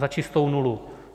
Za čistou nulu.